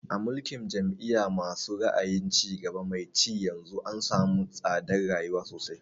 A mulkin jam'iya ma su ra'ayin cigaba mai ci yanzu an samu tsadar rayuwa sosai